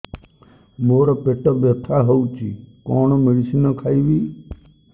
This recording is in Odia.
ମୋର ପେଟ ବ୍ୟଥା ହଉଚି କଣ ମେଡିସିନ ଖାଇବି